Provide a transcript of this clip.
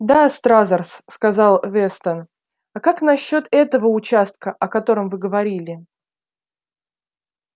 да стразерс сказал вестон а как насчёт этого участка о котором вы говорили